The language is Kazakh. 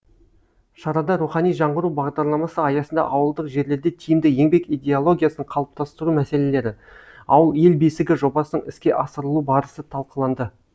шарада рухани жаңғыру бағдарламасы аясында ауылдық жерлерде тиімді еңбек идеологиясын қалыптастыру мәселелері ауыл ел бесігі жобасының іске асырылу барысы талқыланды